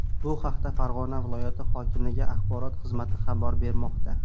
Bu haqda Farg‘ona viloyati hokimligi axborot xizmati xabar bermoqda .